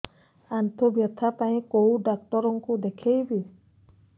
ଆଣ୍ଠୁ ବ୍ୟଥା ପାଇଁ କୋଉ ଡକ୍ଟର ଙ୍କୁ ଦେଖେଇବି